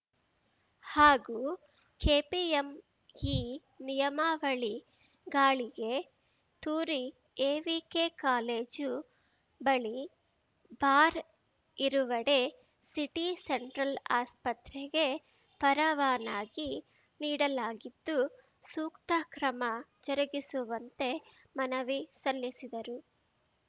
ಹಾಗೂ ಕೆಪಿಎಂಇ ನಿಯಮಾವಳಿ ಗಾಳಿಗೆ ತೂರಿ ಎವಿಕೆ ಕಾಲೇಜು ಬಳಿ ಬಾರ್‌ ಇರುವೆಡೆ ಸಿಟಿ ಸೆಂಟ್ರಲ್‌ ಆಸ್ಪತ್ರೆಗೆ ಪರವಾನಗಿ ನೀಡಲಾಗಿದ್ದು ಸೂಕ್ರ ಕ್ರಮ ಜರುಗಿಸುವಂತೆ ಮನವಿ ಸಲ್ಲಿಸಿದರು